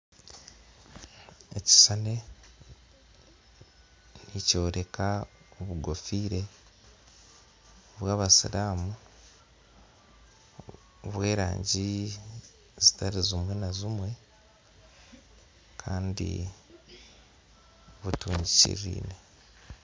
Ekishushani eki nikyoreka obukoofiira bwabasiramu obw'erangi ezitari zimwe na zimwe kandi butungikiririne